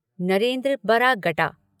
Narendra Baragta